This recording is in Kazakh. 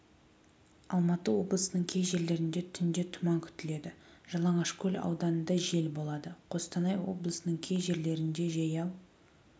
алматы облысының кей жерлерінде түнде тұман күтіледі жалаңашкөл ауданында жел болады қостанай облысының кей жерлерінде жаяу